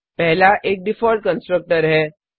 पहला एक default constructor है